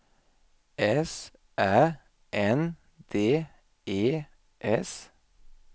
S Ä N D E S